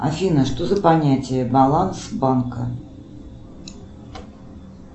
афина что за понятие баланс банка